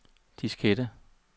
diskette